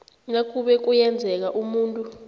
nakube kuyenzeka umuntu